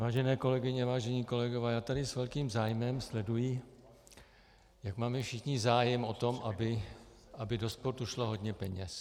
Vážené kolegyně, vážení kolegové, já tady s velkým zájmem sleduji, jak máme všichni zájem na tom, aby do sportu šlo hodně peněz.